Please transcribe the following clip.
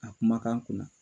A kumakan kunna